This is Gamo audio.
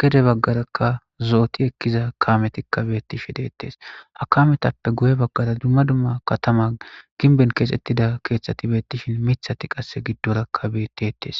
gede bagara zo'oti ekiza kameti de'etes ha kametetappe guye baggara dumma dumma katamay ginben keziza keththat bettishshin miththati gidorakka beettetes